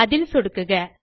அதில் சொடுக்குக